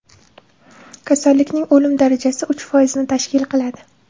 Kasallikning o‘lim darajasi uch foizni tashkil qiladi.